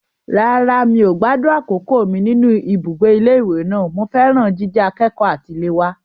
Rárá, mi ò gbádùn àkókò mi nínú ibùgbé ilé ìwé náà. Mo fẹ́ràn jíjẹ akẹ́kọ̀ọ́ àtiléwá.